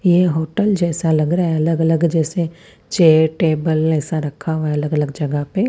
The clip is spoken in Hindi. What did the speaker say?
होटेल जैसा लग रहा है अलग अलग जैसे चेयर टेबल ऐसा रखा हुआ है अलग अलग जगह पे--